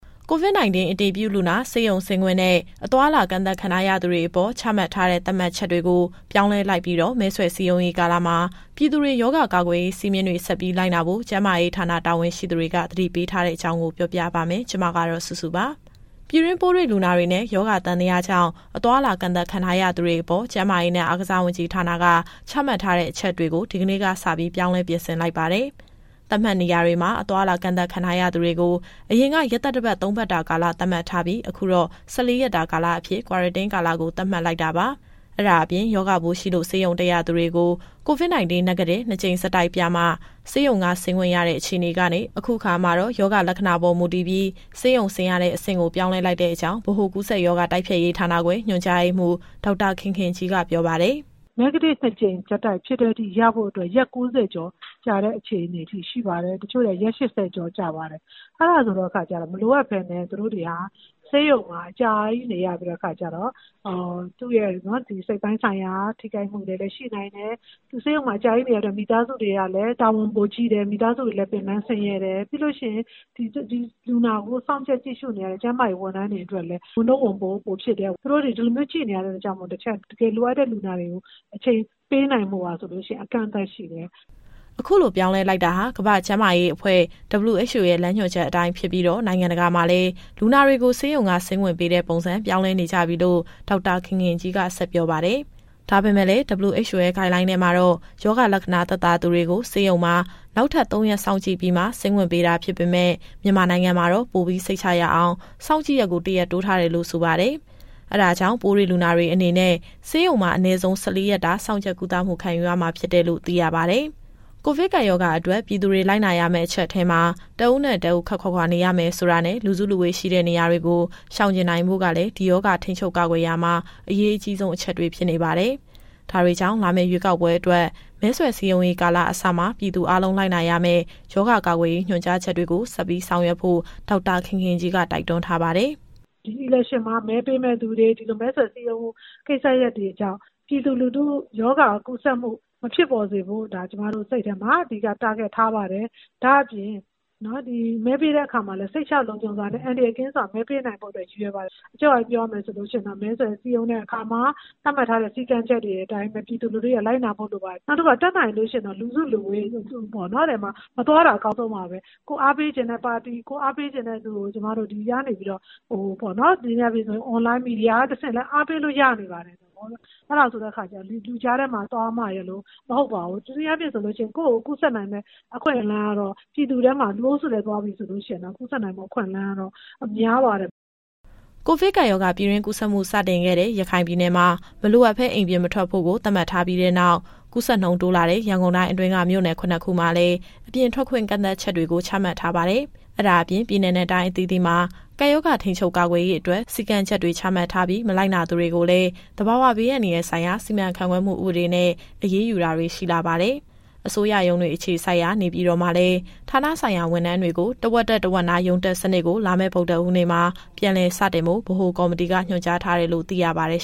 COVID- 19 အတည်ပြုလူနာ ဆေးရုံဆင်းခွင့်နဲ့ အသွားအလာ ကန့်သတ်ခံထားရသူတွေအပေါ် ချမှတ်ထားတဲ့ သတ်မှတ်ချက်တွေကို ပြောင်းလဲလိုက်ပြီးတော့ မဲဆွယ်စည်းရုံးရေးကာလမှာ ပြည်သူတွေရောဂါကာကွယ်ရေး စည်းမျဉ်းတွေဆက်ပြီး လိုက်နာဖို့ ကျန်းမာရေးဌာန တာဝန်ရှိသူက သတိပေးထားတဲ့အကြောင်း ပြောပြပါမယ်။ ဒီသတင်းကို ဗွီအိုအေမြန်မာပိုင်း သတင်းထောက်စုစုက တင်ဆက်ပေးမှာပါ။ ပြည်တွင်းပိုးတွေ့လူနာတွေနဲ့ ရောဂါသံသယကြောင့် အသွားအလာကန့်သတ်ခံထားရသူတွေအပေါ် ကျန်းမာရေးနဲ့အားကစားဝန်ကြီးဌာနက ချမှတ်ထားတဲ့အချက်တွေကို ဒီကနေ့ကစပြီး ပြောင်းလဲပြင်ဆင်လိုက်ပါတယ်။ သတ်မှတ်နေရာတွေမှာ အသွားအလာကန့်သတ်ခံထားရသူတွေကို အရင်က ရက်သတ္တပတ် ၃ပတ်တာကာလ သတ်မှတ်ထားပြီး၊ အခုတော့ ၁၄ရက်တာအဖြစ် Quarantine ကာလကို သတ်မှတ်လိုက်တာပါ။ အဲဒါအပြင် ရောဂါပိုးရှိလို့ ဆေးရုံတက်ရသူတွေ COVID- 19 Negative နှစ်ကြိမ်ဆက်တိုက်ပြမှ ဆေးရုံကဆေးခွင့်ရတဲ့အခြေအနေကနေ အခုအခါမှာတော့ ရောဂါလက္ခဏာပေါ်မူတည်ပြီး ဆေးရုံဆင်းရတဲ့အဆင့်ကို ပြောင်းလဲလိုက်တဲ့အကြောင်း ဗဟိုကူးစက်ရောဂါ တိုက်ဖျက်ရေးဌာနခွဲ ညွှန်ကြားရေးမှူး ဒေါက်တာခင်ခင်ကြီးက ပြောပါတယ်။ “Negative ၂ ကြိမ်ဆက်တိုက်ဖြစ်တဲ့အထိ ရဖို့အတွက် ရက် ၉၀ ကျော်ကြာတဲ့အခြေအနေထိ ရှိပါတယ်။ တချို့တွေက ရက် ၈၀ ကျော်ကြာပါတယ်။ အဲဒါဆိုတဲ့အခါကျတော့ မလိုအပ်ပဲနဲ့ သူတို့တွေက ဆေးရုံမှာအကြာကြီးနေရပြီးတော့ စိတ်ပိုင်းဆိုင်ရာထိခိုက်မှုတွေလည်း ရှိနိုင်တယ်။ သူဆေးရုံမှာအကြာကြီးနေရတော့ မိသားစုတွေကလည်း တာဝန်ပိုကြီးတယ်၊ ပင်ပန်းဆင်းရဲတယ်။ ပြီးတော့ ဒီလူနာကို စောင့်ကြပ်ကြည့်ရှုနေရတဲ့ ကျန်းမာရေးဝန်ထမ်းတွေအတွက်လည်း ဝန်ထုတ်၊ ဝန်ပိုးပိုဖြစ်တယ်။ သူတို့တွေ ဒီလိုမျိုးကြည့်နေရတဲ့အတွက်ကြောင့်မို့ တခြားတကယ်လိုအပ်တဲ့လူနာတွေကို အချိန်ပေးနိုင်ဖို့က အကန့်အသတ်ရှိတယ်။” အခုလိုပြောင်းလဲလိုက်တာဟာ ကမ္ဘာ့ကျန်းမာရေးအဖွဲ့ WHO ရဲ့ လမ်းညွှန်ချက်အတိုင်း ဖြစ်ပြီး နိုင်ငံတကာမှာလည်း လူနာတွေကိုဆေးရုံဆေးခွင့်ပေးတဲ့ပုံစံ ပြောင်းလဲနေကြပြီလို့ ဒေါက်တာခင်ခင်ကြီးက ဆက်ပြောပါတယ်။ ဒါပေမဲ့လည်း WHO ရဲ့ Guideline ထဲမှာတော့ ရောဂါလက္ခဏာသက်သာသူတွေကို ဆေးရုံမှာ နောက်ထပ် ၃ရက်စောင့်ကြည့်ပြီးမှ ဆင်းခွင့်ပေးတာဖြစ်ပေမယ့် မြန်မာနိုင်ငံမှာတော့ ပိုပြီးစိတ်ချရအောင် စောင့်ကြည့်ရက်ကို တရက်တိုးထားတယ်လို့ ဆိုပါတယ်။ အဲဒါကြောင့် ပိုးတွေ့လူနာတွေအနေနဲ့ ဆေးရုံမှာအနည်းဆုံး ၁၄ ရက်တာ စောင့်ကြပ်ကုသမှု ခံယူရမှာဖြစ်တယ်လို့ သိရပါတယ်။ ကိုဗစ်ကပ်ရောဂါအတွက် ပြည်သူတွေလိုက်နာရမဲ့ အချက်ထဲမှာ တဦးနဲ့တဦး ခပ်ခွာခွာနေထိုင်ရမယ်ဆိုတာနဲ့ လူစုလူဝေးရှိတဲ့နေရာတွေကို ရှောင်ကြဉ်နိုင်ဖို့ကလည်း ဒီရောဂါထိန်းချုပ်ကာကွယ်ရာမှာ အရေးကြီးဆုံး အချက်တွေဖြစ်နေပါတယ်။ ဒါတွေကြောင့် လာမယ့်ရွေးကောက်ပွဲအတွက် မဲဆွယ်စည်းရုံးရေးကာလအစမှာ ပြည်သူအားလုံး လိုက်နာရမယ့်ရောဂါကာကွယ်ရေး ညွှန်ကြားချက်တွေကို ဆက်ပြီးဆောင်ရွက်ဖို့ ဒေါက်တာခင်ခင်ကြီးက တိုက်တွန်းထားပါတယ်။ “ဒီရွေးကောက်ပွဲမှာ မဲပေးမယ့်သူတွေ ဒီလိုမဲဆွယ်စည်းရုံး ကိစ္စရပ်တွေကြောင့် ပြည်သူလူထုရောဂါကူးစက်မှု မဖြစ်ပေါ်စေဖို့ ဒါကျမတို့စိတ်ထဲမှာ အဓိကထားပါတယ်။ ဒါ့အပြင် မဲပေးတဲ့အခါမှာလည်း စိတ်ချလုံခြုံစွာနဲ့ အန္တရာယ်ကင်းစွာ မဲပေးနိုင်ဖို့ ရည်ရွယ်ပါတယ်။ အချုပ်အားဖြင့်ပြောရမယ်ဆိုရင်တော့ မဲဆွယ်စည်းရုံးတဲ့အခါမှာ သတ်မှတ်ထားတဲ့ စည်းကမ်းချက်တွေအတိုင်း ပြည်သူလူထုရဲ့လိုက်နာမှုလိုပါတယ်။ နောက်တခုက တတ်နိုင်လို့ရှိရင် လူစုလူဝေးထဲ မသွားတာအကောင်းဆုံးပါပဲ။ ကိုယ်အားပေးချင်တဲ့ပါတီ၊ ကိုယ်အားပေးချင်တဲ့လူကို အွန်လိုင်းမီဒီယာကနေတဆင့်လည်း အားပေးလို့ရပါတယ်။ အဲဒါကြောင့် ဒီလူကြားထဲကိုသွားမှရယ်လို့ မဟုတ်ပါဘူး။ တနည်းအားဖြင့်ဆို ကိုယ့်ကိုယ်ကူးစက်နိုင်မယ့်အခွင့်အလမ်းကတော့ ပြည်သူထဲမှာ လူအုပ်စုထဲကိုသွားပြီဆိုရင်တော့ ကူးစက်နိုင်တဲ့ အခွင့်အလမ်းက များပါတယ်။” ကိုဗစ်ကပ်ရောဂါ ပြည်တွင်းကူးစက်မှု စတင်ခဲ့တဲ့ ရခိုင်ပြည်နယ်မှာ မလိုအပ်ဘဲ အိမ်ပြင်မထွက်ဖို့ကို သတ်မှတ်ထားပြီးတဲ့နောက် ကူးစက်နှုန်းတိုးလာနေတဲ့ ရန်ကုန်တိုင်းအတွင်းက မြို့နယ် ၇ ခုကိုလည်း အပြင်ထွက်ခွင့် ကန့်သတ်ချက်တွေ ချမှတ်ထားပါတယ်။ အဲဒါအပြင် ပြည်နယ်နဲ့တိုင်းအသီးသီးမှာ ကပ်ရောဂါထိန်းချုပ်ကာကွယ်ရေးအတွက် စည်းကမ်းချက်တွေချမှတ်ထားပြီး မလိုက်နာသူတွေကိုလည်း သဘာဝဘေးအန္တရာယ်ဆိုင်ရာ စီမံခန့်ခွဲမှုဥပဒေနဲ့ အရေးယူတာတွေ ရှိလာပါတယ်။ အစိုးရရုံးတွေအခြေစိုက်ရာ နေပြည်တော်မှာလည်း ဌာနဆိုင်ရာဝန်ထမ်းတွေကို တဝက်တက် တဝက်နားရုံးတက်စနစ်ကို လာမယ့်ဗုဒ္ဓဟူးနေ့မှာ ပြန်လည်စတင်ဖို့ ဗဟိုကော်မတီကညွှန်ကြားထားတယ်လို့ သိရပါတယ်